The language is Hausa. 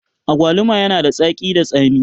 Agwaluma yana da tsaki da tsami